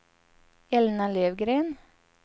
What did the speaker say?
Elna Löfgren